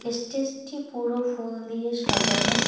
স্টেজটি পুরো ফুল দিয়ে সাজানো।